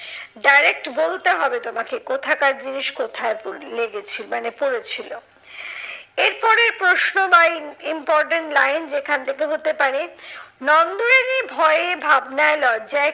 direct বলতে হবে তোমাকে কোথাকার জিনিস কোথায় পরে লেগেছে মানে পরেছিলো। এরপরের প্রশ্ন বা ইম important line যেখান থেকে হতে পারে, নন্দরানী ভয়ে ভাবনায় লজ্জায়